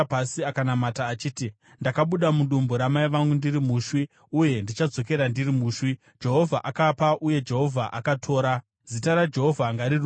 akanamata achiti: “Ndakabuda mudumbu ramai vangu ndiri mushwi, uye ndichadzokera ndiri mushwi. Jehovha akapa uye Jehovha akatora, Zita raJehovha ngarirumbidzwe.”